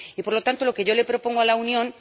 Y por lo tanto, lo que yo le propongo a la Unión